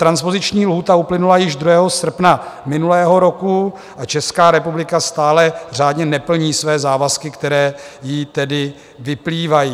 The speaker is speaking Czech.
Transpoziční lhůta uplynula již 2. srpna minulého roku a Česká republika stále řádně neplní své závazky, které jí tedy vyplývají.